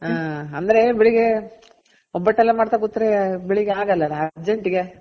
ಹ ಅಂದ್ರೆ ಬೆಳಿಗ್ಗೆ ಒಬ್ಬಟ್ ಎಲ್ಲ ಮಾಡ್ತಾ ಕೂತ್ರೆ ಬೆಳಿಗ್ಗೆ ಆಗಲ್ಲ ಅಲ urgent ಗೆ